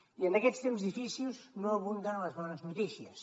i en aquests temps difícils no abunden les bones notícies